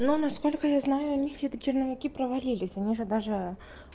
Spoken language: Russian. но насколько я знаю у них эти черновики провалились они же даже